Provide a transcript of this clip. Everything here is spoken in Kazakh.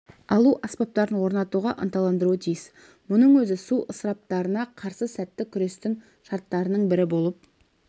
алу аспаптарын орнатуға ынталандыруы тиіс мұның өзі су ысыраптарына қарсы сәтті күрестің шартының бірі болып